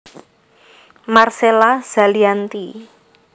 Marcella Zalianty